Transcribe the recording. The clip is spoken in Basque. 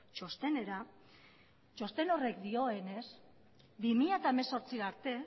txostenera txosten horrek dioenez bi mila hemezortzi arte